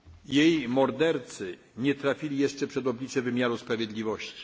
Politkovskiej. Jej mordercy nie trafili jeszcze przed oblicze wymiaru